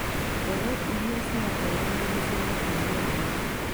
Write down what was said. Mbegũ iria ciraheanwo nĩ ciretiiria riũwa